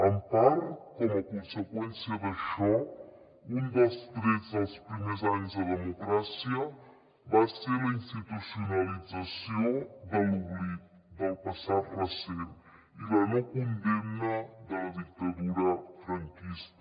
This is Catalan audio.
en part com a conseqüència d’això un dels trets dels primers anys de democràcia va ser la institucionalització de l’oblit del passat recent i la no condemna de la dictadura franquista